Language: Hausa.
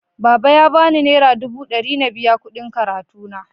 Baba ya bani nera dubu ɗari na biya kuɗin karatuna.